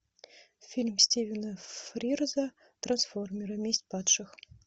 фильм стивена фрирза трансформеры месть падших